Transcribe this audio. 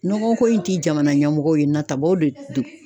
Nɔgɔ ko in ti jamana ɲɛmɔgɔ ye natabaw de don.